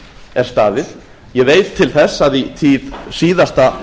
er staðið ég veit til þess að í tíð síðasta